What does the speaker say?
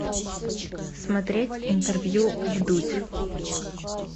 смотреть интервью вдудь